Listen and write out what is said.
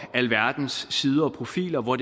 alverdens sider og profiler hvor